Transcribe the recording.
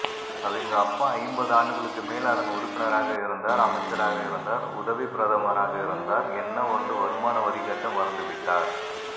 அவிங்க அப்பா ஐம்பது ஆண்டுகளுக்குமேல் அதன் உறுப்பினராகஇருந்தார் அமைச்சராக இருந்தார் உதவிப்பிரதமராக இருந்தார் என்ன ஒன்று வருமான வரிக்கட்ட மறந்துவிட்டார்